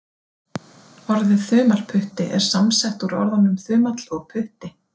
Orðið þumalputti er samsett úr orðunum þumall og putti.